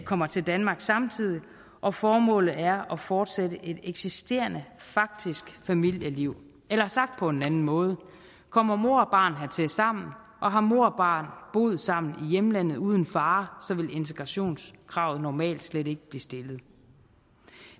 kommer til danmark samtidig og formålet er at fortsætte et eksisterende faktisk familieliv eller sagt på en anden måde kommer mor og barn hertil sammen og har mor og barn boet sammen i hjemlandet uden far så vil integrationskravet normalt slet ikke blive stillet